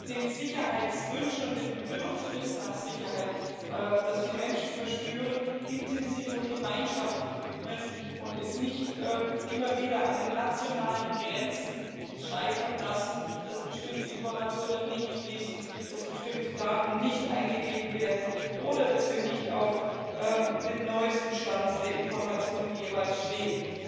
den Sicherheitswünschen und dem Bedürfnis nach Sicherheit, die die Menschen verspüren, intensiv und gemeinschaftlich widmen und es nicht immer wieder an den nationalen Grenzen scheitern lassen, dass bestimmte Informationen nicht fließen, dass bestimmte Daten nicht eingegeben werden oder dass wir nicht jeweils auf dem neuesten Stand der Informationen stehen.